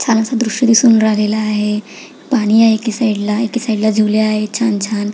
छानस दृश दिसून राहिलेल आहे पाणी आहे एका साइड ला एका साइडला झुले आहेत छान छान.